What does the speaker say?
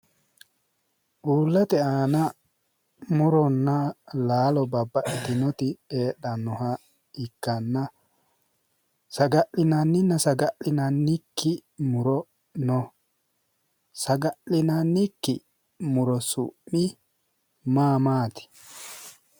Uullate aana murona Lalo babbaxitinnoti heedhannota ikkanna saga'linanninna saga'linannikki muro no saga'linannikki muro su'mi maa maati?